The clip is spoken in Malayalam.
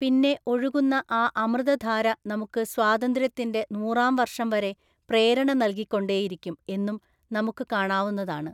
പിന്നെ ഒഴുകുന്ന ആ അമൃതധാര നമുക്ക് സ്വാതന്ത്ര്യത്തിന്റെ നൂറാം വർഷം വരെ പ്രേരണ നല്കിക്കൊണ്ടേയിരിക്കും എന്നും നമുക്ക് കാണാവുന്നതാണ്.